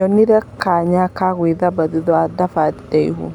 Nĩnyonire kanya ga gwithamba thutha wa thabarĩ ndaihu.